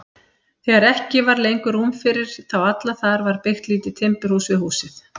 Þegar ekki var lengur rúm fyrir þá alla þar var byggt lítið timburhús við húsið.